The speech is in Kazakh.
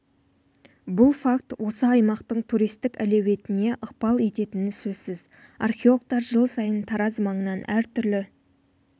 бұл факт осы аймақтың туристік әлеуетіне ықпал ететіні сөзсіз археологтар жыл сайын тараз маңынан әртүрлі